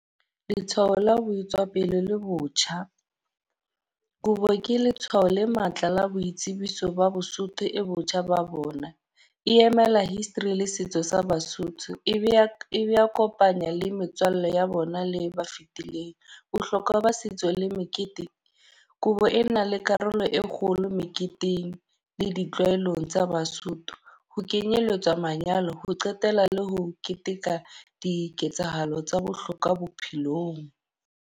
Letshwao la ho etswa pele le botjha. Kobo ke letshwao le matla la boitsebiso ba Bosotho e botjha ba bona. E emela history le setso sa Basotho. E be a e be a kopanya le metswalle ya bona le ba fitileng. Bohlokwa ba setso le mekete. Kobo ena le karolo e kgolo meketeng le ditlwaelong tsa Basotho. Ho kenyelletswa manyalo, ho qetela le ho keteka diketsahalo tsa bohlokwa bophelong.